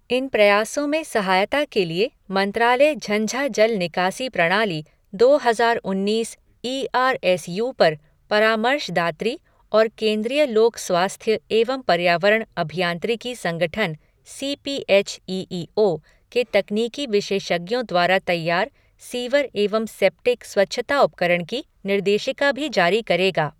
इन प्रयासों में सहायता के लिए मंत्रालय झंझा जल निकासी प्रणाली, दो हजार उन्नीस ई आर एस यू पर परामर्शदात्री और केन्द्रीय लोक स्वास्थ्य एवं पर्यावरण अभियांत्रिकी संगठन C P H E E O के तकनीकी विशेषज्ञों द्वारा तैयार सीवर एवं सेप्टिक स्वच्छता उपकरण की निर्देशिका भी जारी करेगा।